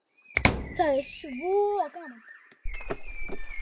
Það er svo gaman.